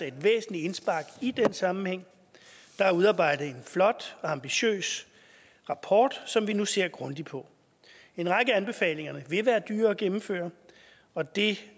et væsentligt indspark i den sammenhæng der er udarbejdet en flot og ambitiøs rapport som vi nu ser grundigt på en række af anbefalingerne vil være dyre at gennemføre og det